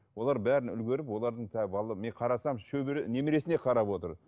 олар бәрін үлгеріп олардың мен қарасам шөбере немересіне қарап отыр